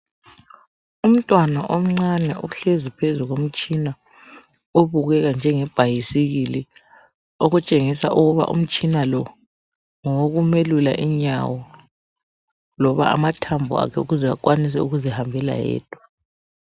Umntwana omncane uhlezi phezu komtshina obukeka njengebhayisikili, okutshengisa ukuthi umtshina lo ngowokumelula inyawo loba amathambo akhe ukuze akwanise ukuzihambela yedwa.